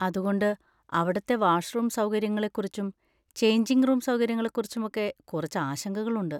അതുകൊണ്ട്, അവിടുത്തെ വാഷ്‌റൂം സൗകര്യങ്ങളെ കുറിച്ചും ചെയ്ഞ്ചിങ് റൂം സൗകര്യങ്ങളെ കുറിച്ചും ഒക്കെ കുറച്ച് ആശങ്കകൾ ഉണ്ട്.